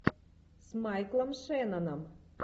с майклом шенноном